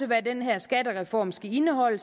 hvad den her skattereform skal indeholde